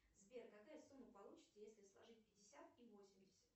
сбер какая сумма получится если сложить пятьдесят и восемьдесят